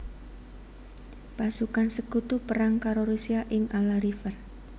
Pasukan Sekutu perang karo Rusia ing Ala River